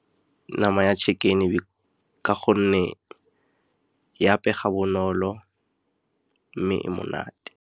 Nama ya chicken-e ka gonne e apega bonolo mme e monate.